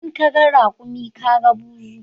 In kaga raƙumi kaga buzu